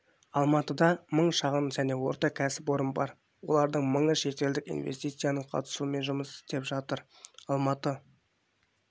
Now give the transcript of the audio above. алматыда мың шағын және орта кәсіпорын бар олардың мыңы шетелдік инвестицияның қатысуымен жұмыс істеп жатыр алматы